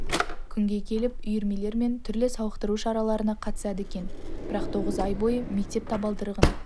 күнге келіп үйірмелер мен түрлі сауықтыру шараларына қатысады екен бірақ тоғыз ай бойы мектеп табалдырығын